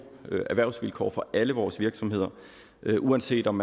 erhvervsvilkår for alle vores virksomheder uanset om